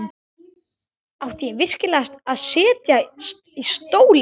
Átti ég virkilega að setjast í stólinn?